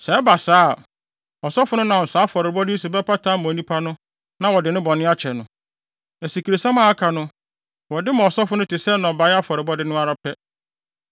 Sɛ ɛba saa a, ɔsɔfo no nam saa afɔrebɔ yi so bɛpata ama onipa no na wɔde ne bɔne no bɛkyɛ no. Asikresiam a aka no, wɔde bɛma ɔsɔfo no te sɛ nnɔbae afɔrebɔde no ara pɛ.’ ”